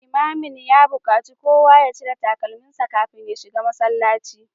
Limamin ya bukaci kowa ya cire takalminsa kafin ya shiga masallaci